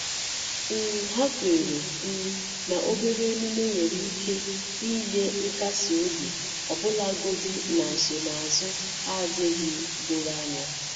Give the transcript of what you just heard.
um Hà kwèrè um na obere emume nwere ike inye nkasi obi ọbụlagodị na nsonaazụ adịghị doro anya.